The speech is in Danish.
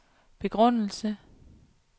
begrundelse